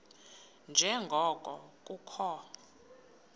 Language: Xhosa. nje ngoko kukho